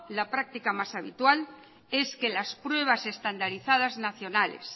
la práctica más habitual es que las pruebas estandarizadas nacionales